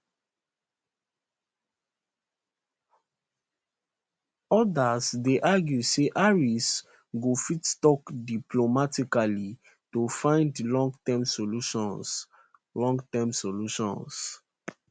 odas dey argue say harris go fit tok diplomatically to find longterm solutions longterm solutions